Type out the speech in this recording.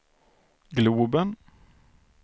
globen